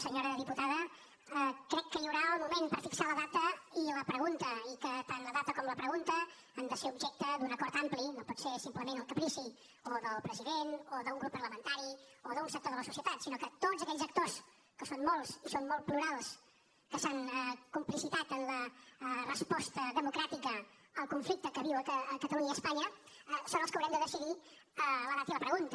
senyora diputada crec que hi haurà el moment per fixar la data i la pregunta i que tant la data com la pregunta han de ser objecte d’un acord ampli no pot ser simplement el caprici o del president o d’un grup parlamentari o d’un sector de la societat sinó que tots aquells actors que són molts i són molt plurals que s’han complicitat en la resposta democràtica al conflicte que viuen catalunya i espanya són els que haurem de decidir la data i la pregunta